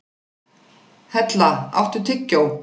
Hella, áttu tyggjó?